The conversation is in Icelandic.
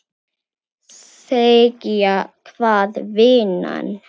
Segja hvað, vinan?